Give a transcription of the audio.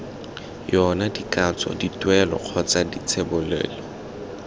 yona dikatso dituelo kgotsa dithebolelo